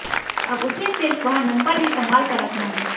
अब उसे सिर्फ वह नंबर ही संभाल कर रखना है